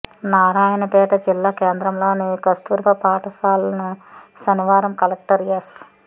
నారాయణపేట జిల్లా కేంద్రంలోని కస్తూర్బా పాఠశాలను శనివారం కలెక్టర్ ఎస్